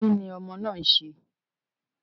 Kí ni ọmọ náà ń ṣe?